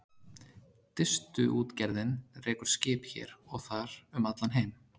Distuútgerðin rekur skip hér og þar um allan heim.